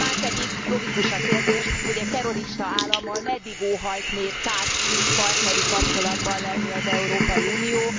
Márpedig logikus a kérdés, hogy egy terrorista állammal meddig óhajt még társult partneri kapcsolatban lenni az Európai Unió.